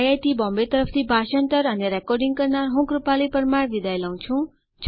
IIT Bombay તરફથી ભાષાંતર કરનાર હું કૃપાલી પરમાર વિદાય લઉં છું